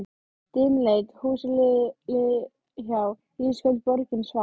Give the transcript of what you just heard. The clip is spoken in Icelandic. Dimmleit húsin liðu hjá, ísköld borgin svaf.